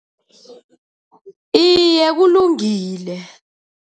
Iye, kulungile.